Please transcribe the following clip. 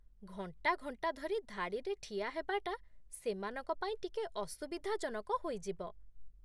ଘଣ୍ଟା ଘଣ୍ଟା ଧରି ଧାଡ଼ିରେ ଠିଆ ହେବାଟା ସେମାନଙ୍କ ପାଇଁ ଟିକେ ଅସୁବିଧାଜନକ ହୋଇଯିବ ।